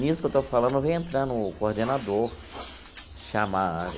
Nisso que eu estou falando, vem entrando o coordenador chama.